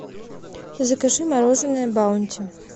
закажи мороженное баунти